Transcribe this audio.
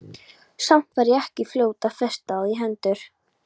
Samt var ég ekki fljót að festa á því hendur.